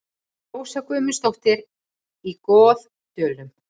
Rósa Guðmundsdóttir í Goðdölum